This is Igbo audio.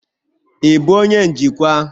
Ị bụ onye njikwa?